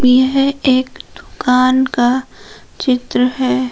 यह एक दुकान क चित्र है।